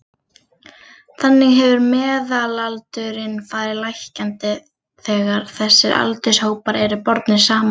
Þannig hefur meðalaldurinn farið lækkandi þegar þessir aldurshópar eru bornir saman.